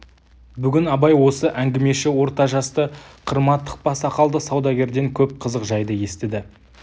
бүгін абай осы әңгімеші орта жасты қырма тықпа сақалды саудагерден көп қызық жайды естіді